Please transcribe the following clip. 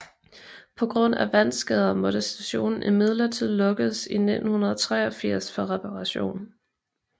På grund af vandskader måtte stationen imidlertid lukkes i 1983 for reparation